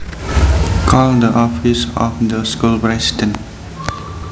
Call the office of the school president